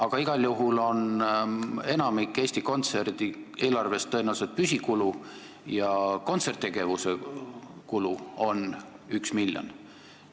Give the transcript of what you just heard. Aga igal juhul on enamik Eesti Kontserdi eelarvest tõenäoliselt püsikulud ja kontserttegevuse kulud on 1 miljon.